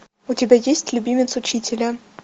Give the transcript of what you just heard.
у тебя есть любимец учителя